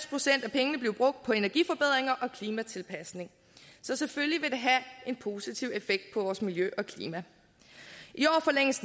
pengene blive brugt på energiforbedringer og klimatilpasninger så selvfølgelig vil det have en positiv effekt på vores miljø og klima i år forlænges